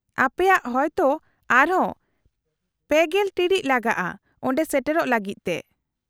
-ᱟᱯᱮᱭᱟᱜ ᱦᱚᱭᱛᱳ ᱟᱨᱦᱚᱸ ᱓᱐ ᱴᱤᱬᱤᱡ ᱞᱟᱜᱟᱜᱼᱟ ᱚᱸᱰᱮ ᱥᱮᱴᱮᱨᱚᱜ ᱞᱟᱹᱜᱤᱫ ᱛᱮ ᱾